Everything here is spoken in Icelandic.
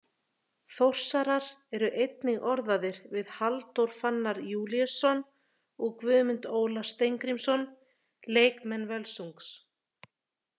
Þórsarar eru einnig orðaðir við Halldór Fannar Júlíusson og Guðmund Óla Steingrímsson leikmenn Völsungs.